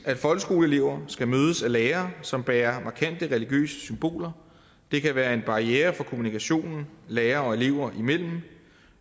at folkeskoleelever skal mødes af lærere som bærer markante religiøse symboler det kan være en barriere for kommunikationen lærere og elever imellem